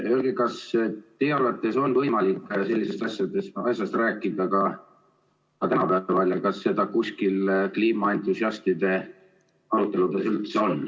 Öelge, kas teie arvates on võimalik ka sellistest asjadest asjast rääkida ja öelge palun, kas seda teemat kuskil kliimaentusiastide aruteludes üldse on.